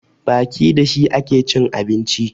Baki da shi ake cin abinci